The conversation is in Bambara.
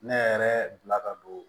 Ne yɛrɛ bila ka don